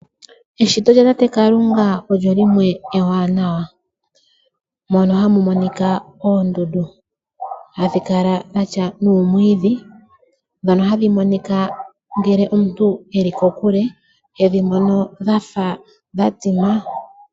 Eshito lyatate Kalunga olyo limwe ewanawa , mono hamu monika oondundu ,hadhi kala dhatya nuumwiidhi , ndhono hadhi monika ngele omuntu eli kokule , tedhi mono dhafa dhatsima.